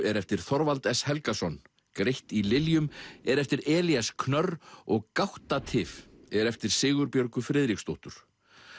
er eftir Þorvald s Helgason greitt í er eftir Elías knörr og gáttatif er eftir Sigurbjörgu Friðriksdóttur